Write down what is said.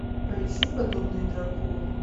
поищи подобные дракону